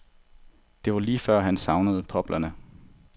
Det var lige før, han savnede poplerne.